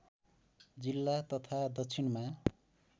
जिल्ला तथा दक्षिणमा